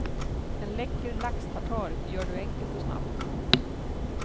En läcker laxtartar gör du enkelt och snabbt.